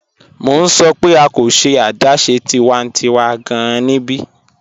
Mọ̀ n sọ̀ pẹ̀ a kò ṣẹ̀ adáṣẹ̀ tiwàntíwà gáàn níbí.